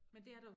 Men det er der jo